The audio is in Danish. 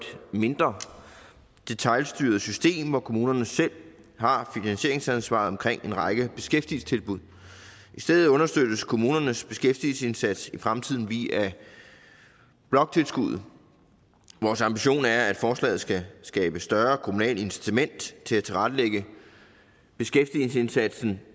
mindre detailstyret system hvor kommunerne selv har finansieringsansvaret omkring en række beskæftigelsestilbud i stedet understøttes kommunernes beskæftigelsesindsats i fremtiden via bloktilskuddet vores ambition er at forslaget skal skabe større kommunalt incitament til at tilrettelægge beskæftigelsesindsatsen